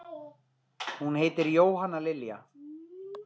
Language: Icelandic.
Hún heitir Jóhanna Lilja.